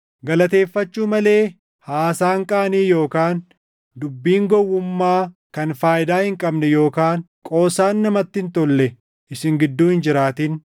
Galateeffachuu malee haasaan qaanii yookaan dubbiin gowwummaa kan faayidaa hin qabne yookaan qoosaan namatti hin tolle isin gidduu hin jiraatin.